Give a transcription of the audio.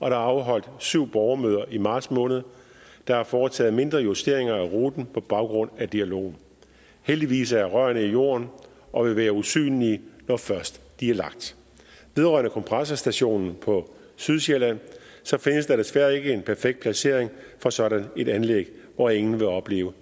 er afholdt syv borgermøder i marts måned og der er foretaget mindre justeringer af ruten på baggrund af dialogen heldigvis er rørene i jorden og vil være usynlige når først de er lagt vedrørende kompressorstationen på sydsjælland findes der desværre ikke en perfekt placering for sådan et anlæg hvor ingen vil opleve